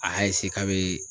A y'a k'a bɛ